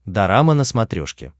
дорама на смотрешке